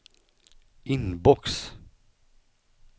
inbox